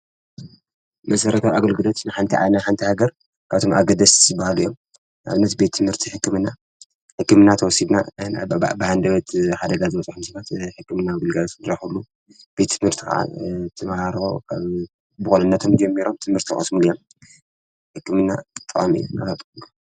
መሠረታ ኣግልግደት ንሓንቲይ ዓነ ሓንቲይ ገር ካቶም ኣገደስበሃልዮም ኣብ ነት ቤትምህርቲ ሕክምና ሕክምናት ወሲድና ብሓንደበት ሓደጋ ዘብፁሕ ምስባት ሕክምና ብልጋዝሱድራሕሉ ቤትምህርት ዓ እተመሃባው ብ ብቕልነቶም ጀሚይሮም ትምህርቲ ወስም ልያ ሕክምና ጥሜሎ።